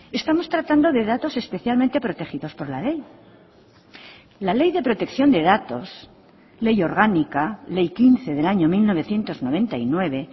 estamos tratando de datos especialmente protegidos por la ley la ley de protección de datos ley orgánica ley quince del año mil novecientos noventa y nueve